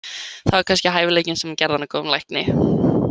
Það var kannski hæfileikinn sem gerði hana að góðum lækni.